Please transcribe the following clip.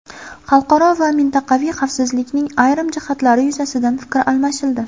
Xalqaro va mintaqaviy xavfsizlikning ayrim jihatlari yuzasidan fikr almashildi.